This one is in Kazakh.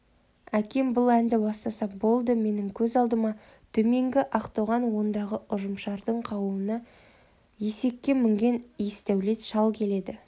әкем бұл әнді бастаса болды менің көз алдыма төменгі ақтоған ондағы ұжымшардың қауыны есекке мінген есдәулет шал келеді